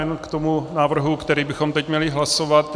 Jenom k tomu návrhu, který bychom teď měli hlasovat.